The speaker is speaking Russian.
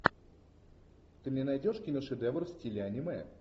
ты мне найдешь киношедевр в стиле аниме